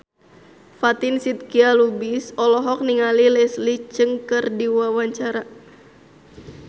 Fatin Shidqia Lubis olohok ningali Leslie Cheung keur diwawancara